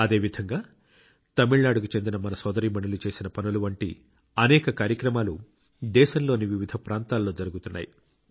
అదేవిధంగా తమిళనాడుకు చెందిన మన సోదరీమణులు చేసిన పనుల వంటి అనేక కార్యక్రమాలు దేశంలోని వివిధ ప్రాంతాల్లో జరుగుతున్నాయి